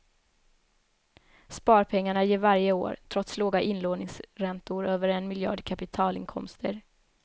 Sparpengarna ger varje år, trots låga inlåningsräntor, över en miljard i kapitalinkomster.